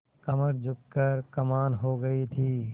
कमर झुक कर कमान हो गयी थी